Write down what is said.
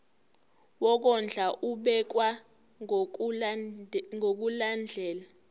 wokondla ubekwa ngokulandlela